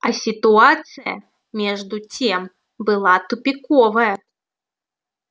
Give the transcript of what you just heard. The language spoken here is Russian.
а ситуация между тем была тупиковая